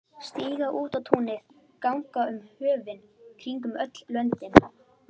Stíga út á túnið, ganga um höfin, kringum öll löndin.